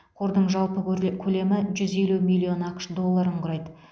қордың жалпы көрле көлемі жүз елу миллион ақш долларын құрайды